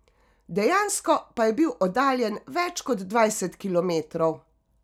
Dejansko pa je bil oddaljen več kot dvajset kilometrov.